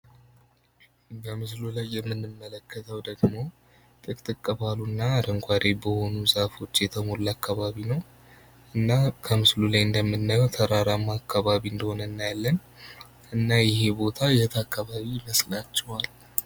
በምስሉ ላይ የምንመለከተው ደግሞ ጥቅስ ባሉ እና አረንጓዴ በሆኑ ዛፎች የተሞላ አካባቢ ነው ።ላይ እንደምናየው ተራራማ አካባቢ እንደሆነ እናያለን። እና ይህ ቦታ የት አካባቢ ይመስላችኋል?